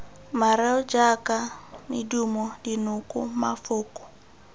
mareo jaaka medumo dinoko mafoko